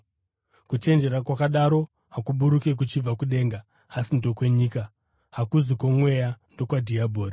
“Kuchenjera” kwakadaro hakuburuki kuchibva kudenga asi ndokwenyika, hakuzi kwomweya, ndokwadhiabhori.